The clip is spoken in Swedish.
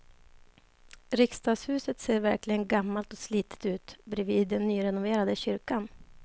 Riksdagshuset ser verkligen gammalt och slitet ut bredvid den nyrenoverade kyrkan.